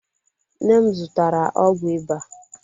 Nne m zụtara ọgwụ ịba.